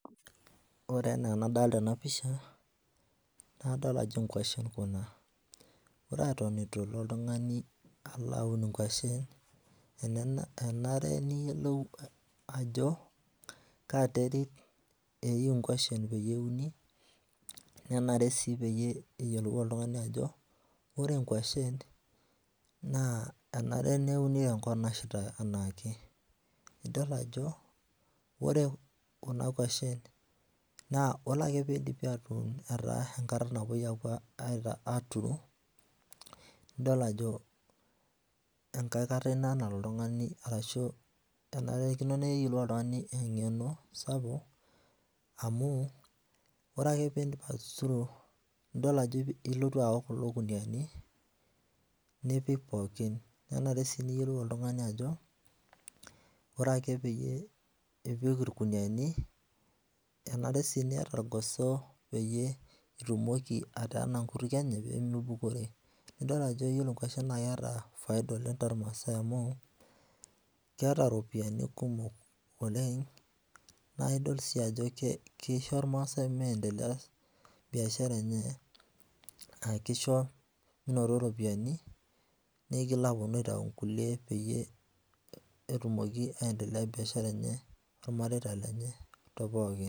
Ore enaa enadolita ena pisha, naa kadol ajo nkwashen kuna. Ore eton etu elo oltung'ani alo aun inkwashen, enare niyiolou ajo kaa terit eyieu nkwashen peyie euni nenare sii peyie eyiolou oltung'ani ajo ore inkwashen naa enare neuni tenkop nashita enaake. Idol ajo ore kuna kwashen naa ore ake piidipi atuun etaa enkata napwoi aaturu nidol ajo enkae kata ina nalo oltung'ani arashu enarikino neyiolou oltung'ani eng'eno sapuk amu ore piimbasuru nidol ajo ilotu aun kulo kunuyiani, nipik pookin. Nenare sii niyiolou oltung'ani ajo ore ake pee ipik irkunuyiani, enare sii niata irgoso peyie itumoki ateena nkutukie enye peemeibukori. Nidol ajo yiolo nkwashen naa keeta faida oleng tormaasai amu keeta iropiyiani kumok oleng naidol sii ajo kisho irmaasai miendelea biashara enye aa kisho minoto iropiyiani nigil apwonu aitau nkulie peyie etumoki aendelea biashara enye ormareita lenye tepooki